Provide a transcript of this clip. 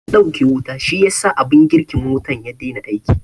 An ɗauke wuta shiyasa abin girkin wutan ya dai na aiki